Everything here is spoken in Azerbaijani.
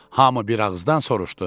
Hamı bir ağızdan soruşdu.